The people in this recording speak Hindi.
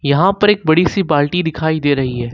यहां पर एक बड़ी सी बाल्टी दिखाई दे रही है।